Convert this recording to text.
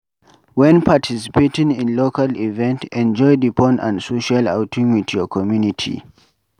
When participating in local event, enjoy di fun and social outing with your community